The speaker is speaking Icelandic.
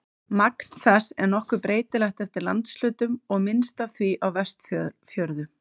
Magn þess er nokkuð breytilegt eftir landshlutum og er minnst af því á Vestfjörðum.